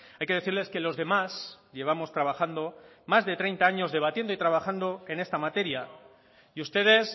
hay que decirles que los demás llevamos trabajando más de treinta años debatiendo y trabajando en esta materia y ustedes